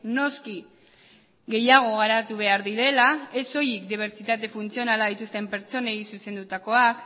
noski gehiago garatu behar direla ez soilik dibertsitate funtzionala dituzten pertsonei zuzendutakoak